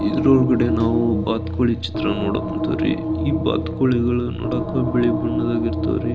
ಇದರೊಳಗಡೆ ನಾವು ಬಾತುಕೋಳಿ ಚಿತ್ರಾನ ನೋಡಕ್ ಕುಂತೀವ್ರಿ ಈ ಬಾತುಕೋಳಿಗಳು ನೋಡಕ್ ಬಿಳಿ ಬಣ್ಣದಾಗಿರ್ತಾವ್ರಿ.